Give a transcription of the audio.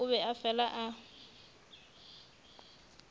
o be a fela a